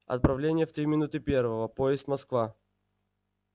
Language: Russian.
отправление в три минуты первого поезд москва